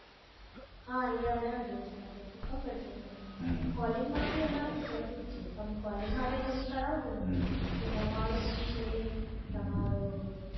હા એ અઢાર દિવસ માટે એતો ખબર છે મને calling માટે અમારામાં બધું છે calling માટે કરવોને તમે તો નવ્વાણુનો છે